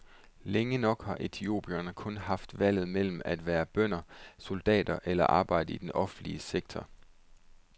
Længe nok har etiopierne kun haft valget mellem at være bønder, soldater eller at arbejde i den offentlige sektor.